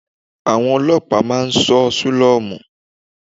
Àwọn Ọlọ́pàá máa ń ṣọ́ sílọ́mù.